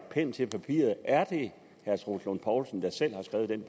pen til papiret er det herre troels lund poulsen der selv har skrevet den